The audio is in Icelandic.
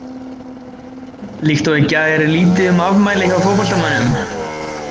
Líkt og í gær er lítið um afmæli hjá fótboltamönnum.